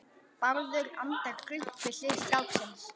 Bárður andar grunnt við hlið stráksins.